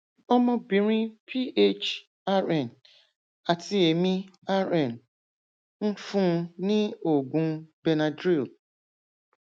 ọmọbìnrin ph rn àti èmi rn ń fún un ní oògùn benadryl